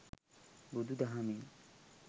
බුදු දහමින්